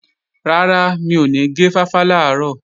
Rárá, mi ò ní gé fáfá làárọ̀